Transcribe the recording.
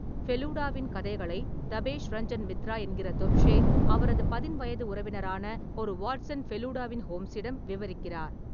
ஃபெலுடாவின் கதைகளை தபேஷ் ரஞ்சன் மித்ரா என்கிற தொப்ஷே, அவரது பதின்வயது உறவினரான, ஒரு வாட்சன் ஃபெலுடாவின் ஹோம்ஸிடம் விவரிக்கிறார்.